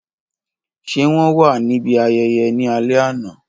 Ṣe wọn wa nibi ayẹyẹ ni alẹ ana?.